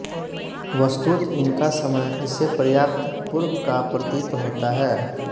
वस्तुत इनका समय इससे पर्याप्त पूर्व का प्रतीत होता है